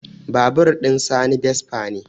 Babur ɗin sani vespa ne